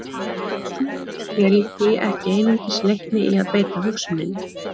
Gagnrýnin hugsun er því ekki einungis leikni í að beita hugsuninni.